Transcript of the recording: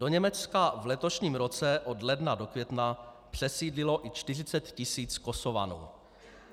Do Německa v letošním roce od ledna do května přesídlilo i 40 000 Kosovanů.